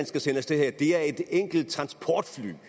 skal sende af sted her det er et enkelt transportfly vi